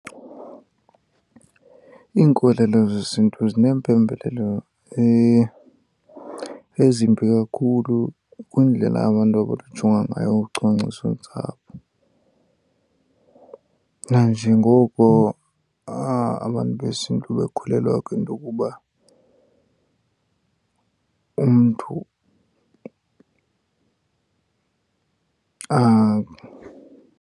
Iinkolelo zesiNtu zineempembelelo ezimbi kakhulu kwiindlela abantu abakujonga ngayo ucwangcisontsapho, nanjengoko abantu besiNtu bekholelwa kwinto yokuba umntu .